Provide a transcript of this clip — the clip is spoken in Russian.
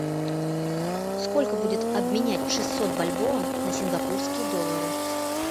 сколько будет обменять шестьсот бальбоа на сингапурские доллары